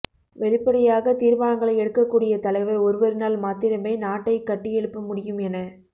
வெளிப்படையாக தீர்மானங்களை எடுக்கக் கூடிய தலைவர் ஒருவரினால் மாத்திரமே நாட்டை கட்டியெழுப்ப முடியும் என